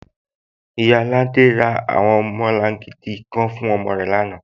Iyaafin Laide ra awọn ọmọlàngídì kàn fún ọmọ rẹ lánà.